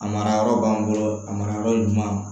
A mara yɔrɔ b'an bolo a mara yɔrɔ ɲuman